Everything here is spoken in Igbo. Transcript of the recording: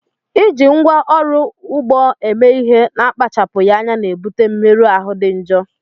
Iji ngwá ọrụ ugbo eme ihe n'akpachapụghị anya na-ebute mmerụ ahụ dị njọ